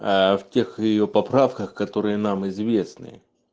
аа в тех её поправках которые нам известны